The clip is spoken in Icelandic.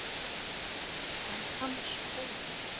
En Hans Óli?